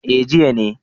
eh jiya ne